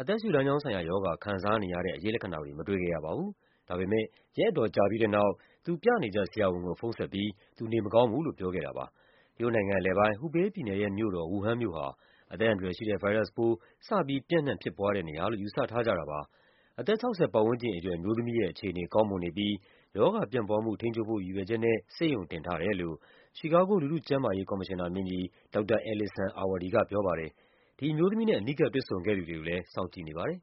အသက်ရှုလမ်းကြောင်း ဆိုင်ရာရောဂါ ခံစားနေရတဲ့ အရိပ်လက္ခဏာတွေ မတွေ့ခဲ့ရပါဘူး။ ဒါပေမယ့် ရက်အတော်ကြာပြီးတဲ့နောက် သူ ပြနေကျ ဆရာဝန်ကို ဖုန်းဆက်ပြီး သူနေမကောင်းဘူးလို့ ပြောခဲ့တာပါ။ တရုတ်နိုင်ငံအလယ်ပိုင်း၊ Hubei ပြည်နယ်ရဲ့မြို့တော် Wuhan မြို့ဟာ အသက်အန္တရာယ်ရှိတဲ့ ဗိုင်းရပ်စ်ပိုး စပြီး ပြန့်နှံ့ဖြစ်ပွားတဲ့နေရာလို့ ယူဆထားကြတာပါ။ အသက် ၆၀ ပတ်ဝန်းကျင်အရွယ် အမျိုးသမီးရဲ့အခြေအနေ ကောင်းမွန်နေပြီး ရောဂါပြန့်ပွားမှု ထိန်းချုပ်ဖို့ ရည်ရွယ်ချက်နဲ့ ဆေးရုံ တင်ထားတယ်လို့ ချီကာဂို လူထုကျန်းမာရေးကော်မရှင်နာမင်းကြီး ဒေါက်တာ Allison Arwady က ပြောပါတယ်။ ဒီအမျိုးသမီးနဲ့ အနီးကပ် တွေ့ဆုံခဲ့သူတွေကိုလည်း စောင့်ကြည့်နေပါတယ်